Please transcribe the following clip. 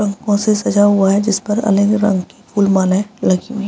रंगों से सजा हुआ है जिस पर अलग रंग के फूल मालाए लगी हुई है।